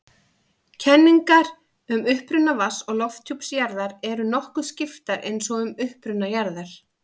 Kenningar um uppruna vatns- og lofthjúps jarðar eru nokkuð skiptar eins og um uppruna jarðar.